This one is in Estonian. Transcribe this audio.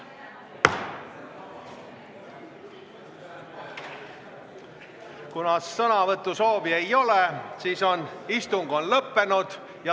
Kuna sõnavõtusoove ei ole, on istung lõppenud.